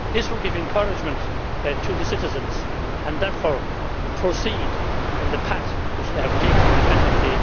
This will give encouragement to the citizens and therefore proceed in the path which they have taken independently.